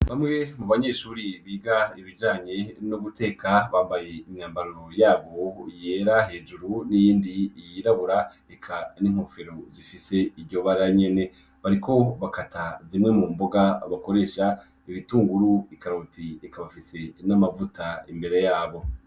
Bamwe mubanyeshure ,biga ibijanye no guteka bambaye imyambaro yabo yera hejuru n’iyindi ,yirabura eka n’inkofero zifise iryo bara nyene. Bariko bakata zimwe mumboga bakoresha , ibitunguru, ikaroti eka bafise n’amavuta imbere yabo.